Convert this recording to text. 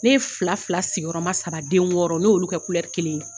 Ne ye fila fila sigiyɔrɔma saba den wɔɔrɔ ne y'olu kɛ kelen ye